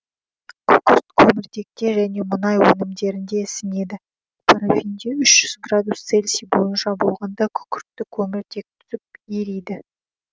күкірт көміртекте және мұнай өнімдерінде ісінеді парафинде үш жүз градус цельси бойынша болғанда күкіртті көміртек түзіп ериді